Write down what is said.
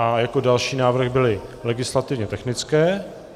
A jako další návrh byly legislativně technické.